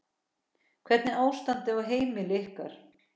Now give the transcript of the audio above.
Hvernig er ástandið á heimili ykkar?